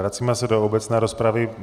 Vracíme se do obecné rozpravy.